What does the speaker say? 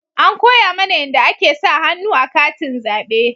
An koya mana yanda ake sa hannu a katin zabe